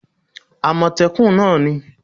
amotekun náà ni